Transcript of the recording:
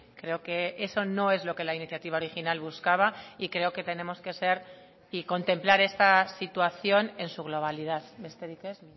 creo que eso no es lo que la iniciativa original buscaba y creo que tenemos que ser y contemplar esta situación en su globalidad besterik ez